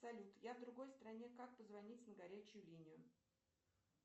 салют я в другой стране как позвонить на горячую линию